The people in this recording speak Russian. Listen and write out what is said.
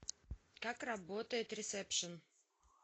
как работает ресепшн